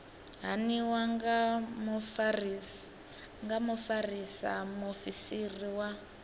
haniwa nga mufarisa muofisiri wa